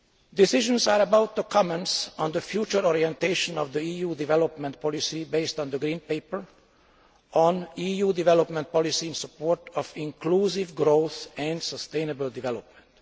Decisions are about to commence on the future orientation of the EU development policy based on the Green Paper on EU development policy in support of inclusive growth and sustainable development.